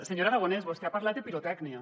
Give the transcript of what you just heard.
senyor aragonès vostè ha parlat de pirotècnia